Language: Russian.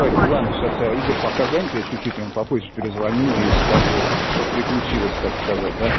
ладно сейчас игорь пока занята чуть-чуть вам попозже перезвоню и скажу что приключилось так сказать